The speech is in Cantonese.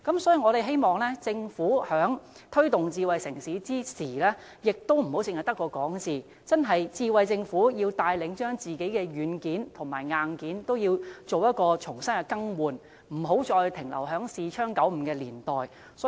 所以，我們希望政府在推動發展智慧城市時，自己也不要光說不做，智慧政府應該牽頭更換政府內部的軟件和硬件，不要停留在視窗95的年代了。